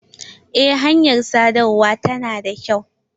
Eh hanyar sadarwa ta na da kyau.